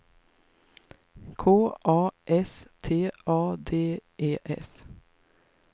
K A S T A D E S